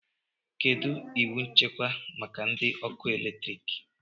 Kedu iwu nchekwa maka ndị ọkụ eletrik?